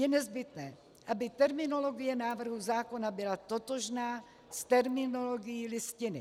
Je nezbytné, aby terminologie návrhu zákona byla totožná s terminologií Listiny.